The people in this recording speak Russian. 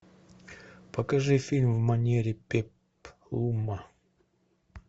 покажи фильм в манере пеплума